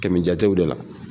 Kɛmɛjatew de la